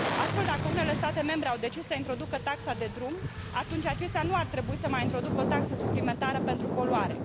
Astfel, dacă unele state membre au decis să introducă taxa de drum, atunci acestea nu ar trebui să mai introducă o taxă suplimentară pentru poluare.